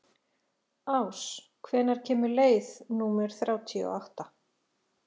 Ás, hvenær kemur leið númer þrjátíu og átta?